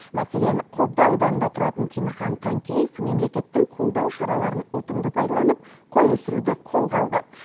мәселен қобда ауданында тұратын темірхан танкеев мемлекеттің қолдау шараларын ұтымды пайдаланып қой өсіруді қолға алды